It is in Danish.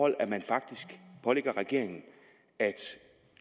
at man faktisk pålægger regeringen at